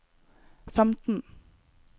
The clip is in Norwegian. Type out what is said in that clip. femten